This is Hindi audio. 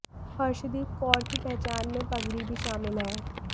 हर्षदीप कौर की पहचान में पगड़ी भी शामिल है